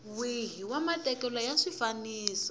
wihi wa matekelo ya swifaniso